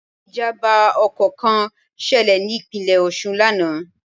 Ìjàmbá ọkọ̀ kan ṣẹlẹ̀ ní Ìpínlẹ̀ Òṣun lánàá